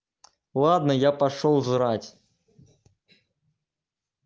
ладно я пошёл жрать